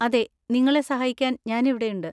അതെ, നിങ്ങളെ സഹായിക്കാൻ ഞാൻ ഇവിടെയുണ്ട്.